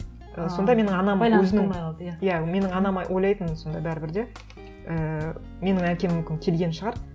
ы сонда менің анам өзінің болмай қалды иә иә менің анам ойлайтын сонда бәрібір де ііі менің әкем мүмкін келген шығар